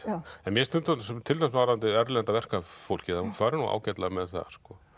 en mér finnst til dæmis varðandi erlenda verkafólkið að hún fari nú ágætlega með það sko